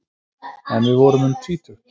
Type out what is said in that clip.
En við vorum um tvítugt.